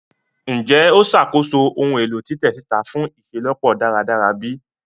Njẹ o ṣakoso ohun elo titẹ sita fun iṣelọpọ daradara bi?